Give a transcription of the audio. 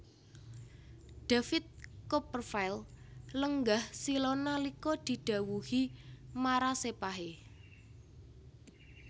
David Copperfield lenggah sila nalika didhawuhi marasepahe